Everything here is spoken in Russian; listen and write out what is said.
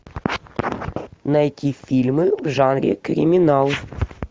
найти фильмы в жанре криминал